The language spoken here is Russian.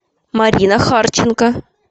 марина харченко